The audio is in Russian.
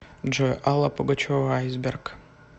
джой алла пугачева айсберг